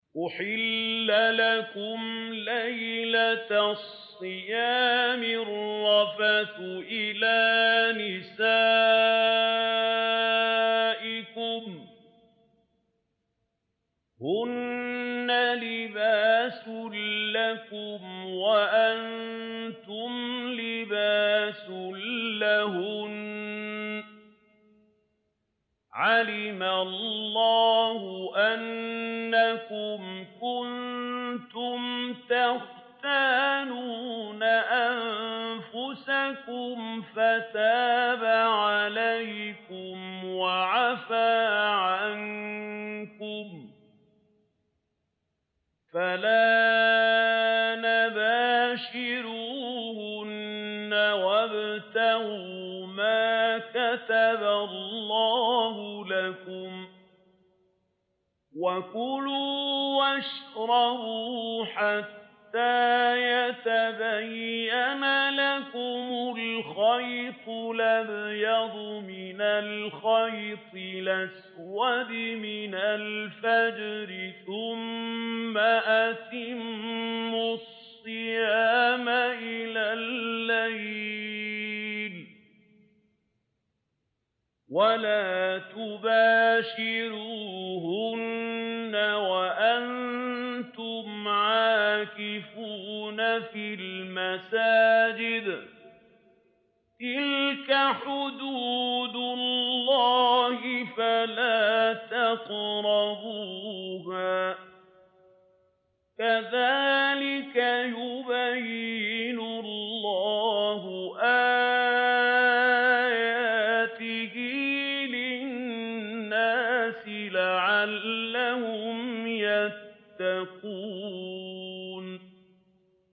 أُحِلَّ لَكُمْ لَيْلَةَ الصِّيَامِ الرَّفَثُ إِلَىٰ نِسَائِكُمْ ۚ هُنَّ لِبَاسٌ لَّكُمْ وَأَنتُمْ لِبَاسٌ لَّهُنَّ ۗ عَلِمَ اللَّهُ أَنَّكُمْ كُنتُمْ تَخْتَانُونَ أَنفُسَكُمْ فَتَابَ عَلَيْكُمْ وَعَفَا عَنكُمْ ۖ فَالْآنَ بَاشِرُوهُنَّ وَابْتَغُوا مَا كَتَبَ اللَّهُ لَكُمْ ۚ وَكُلُوا وَاشْرَبُوا حَتَّىٰ يَتَبَيَّنَ لَكُمُ الْخَيْطُ الْأَبْيَضُ مِنَ الْخَيْطِ الْأَسْوَدِ مِنَ الْفَجْرِ ۖ ثُمَّ أَتِمُّوا الصِّيَامَ إِلَى اللَّيْلِ ۚ وَلَا تُبَاشِرُوهُنَّ وَأَنتُمْ عَاكِفُونَ فِي الْمَسَاجِدِ ۗ تِلْكَ حُدُودُ اللَّهِ فَلَا تَقْرَبُوهَا ۗ كَذَٰلِكَ يُبَيِّنُ اللَّهُ آيَاتِهِ لِلنَّاسِ لَعَلَّهُمْ يَتَّقُونَ